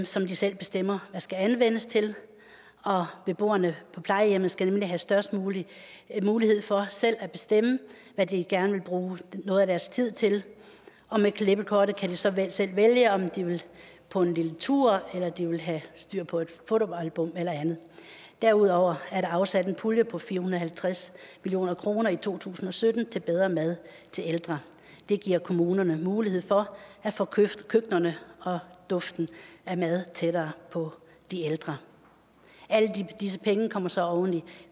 som de selv bestemmer hvad skal anvendes til beboerne på plejehjemmene skal nemlig have størst mulig mulighed for selv at bestemme hvad de gerne vil bruge noget af deres tid til og med klippekortet kan de så selv vælge om de vil på en lille tur eller de vil have styr på et fotoalbum eller andet derudover er der afsat en pulje på fire hundrede og halvtreds million kroner i to tusind og sytten til bedre mad til ældre det giver kommunerne mulighed for at få køkkenerne og duften af mad tættere på de ældre alle disse penge kommer så oven i